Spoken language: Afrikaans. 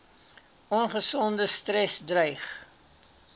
ongesonde stres dreig